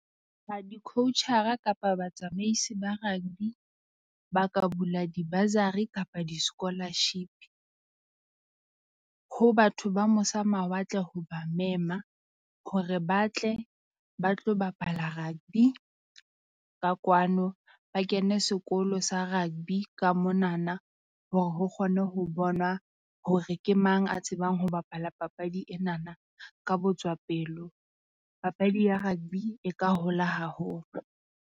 A di-coach-ra kapa batsamaisi ba rugby ba ka bula di-bursary kapa di-scholarship ho batho ba mose mawatle ho ba mema. Hore ba tle ba tlo bapala rugby ka kwano, ba kene sekolo sa rugby ka monana. Hore ho kgonwe ho bona hore ke mang a tsebang ho bapala papadi enana ka botswa pelo. Papadi ya rugby e ka hola haholo.